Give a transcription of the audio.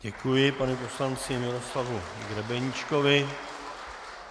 Děkuji panu poslanci Miroslava Grebeníčkovi.